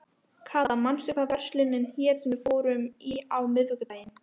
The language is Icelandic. Kata, manstu hvað verslunin hét sem við fórum í á miðvikudaginn?